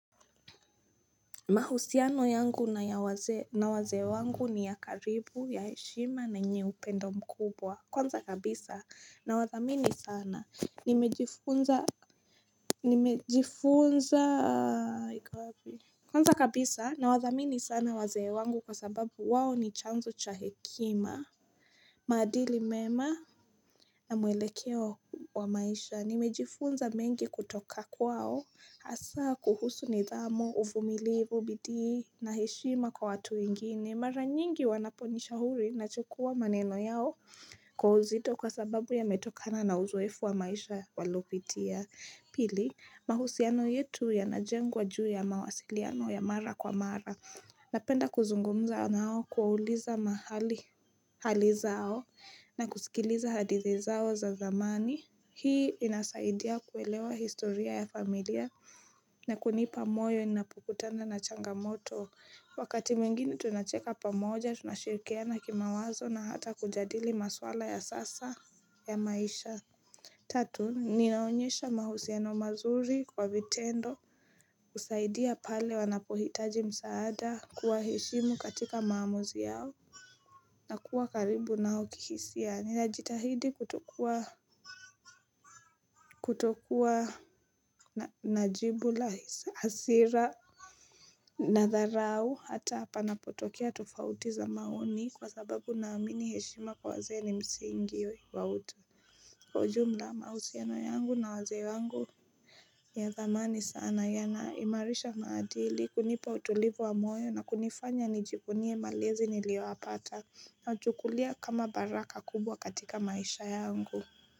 Mahusiano yangu na wazee wangu ni ya karibu ya heshima na yenye upendo mkubwa kwanza kabisa na wadhamini sana Kwanza kabisa na wadhamini sana wazee wangu kwa sababu wao ni chanzo cha hekima maadili mema na mwelekeo wa maisha nimejifunza mengi kutoka kwao hasa kuhusu nidhamu, uvumilivu, bidii na heshima kwa watu wengine. Mara nyingi wanaponishauri nachukua maneno yao kwa uzito kwa sababu yametokana na uzoefu wa maisha waliopitia. Pili, mahusiano yetu yanajengwa juu ya mawasiliano ya mara kwa mara. Napenda kuzungumza nao kuwauliza hali zao na kusikiliza hadithi zao za zamani. Hii inasaidia kuelewa historia ya familia na kunipa moyo ninapokutana na changamoto Wakati mwingine tunacheka pamoja tunashirikiana kimawazo na hata kujadili maswala ya sasa ya maisha Tatu, ninaonyesha mahusiano mazuri kwa vitendo husaidia pale wanapohitaji msaada kuwaheshimu katika maamuzi yao na kuwa karibu nao kihisia, ninajitahidi kutokua na jibu la hasira Nadharau hata panapotokea tofauti za maoni kwa sababu naamini heshima kwa wazee ni msingi wa utu. Kwa ujumla mahusiano yangu na wazee wangu ni ya dhamani sana yanaimarisha maadili kunipa utulivu wa moyo na kunifanya nijivunie malezi niliyoyapata nachukulia kama baraka kubwa katika maisha yangu.